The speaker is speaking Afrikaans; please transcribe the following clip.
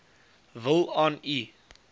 wil aan u